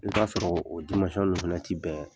I bi t'a sɔrɔ o dimansɔn ninnu fɛnɛ ti bɛn